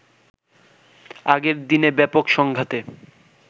আগের দিনে ব্যাপক সংঘাতে